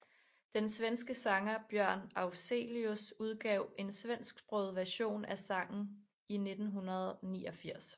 Den svenske sanger Björn Afzelius udgav en svensksproget version af sanggen i 1989